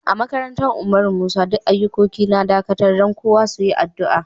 A makarantan Umar Musa, duk ayukoki na dakatar dan kowa su yi addu'a.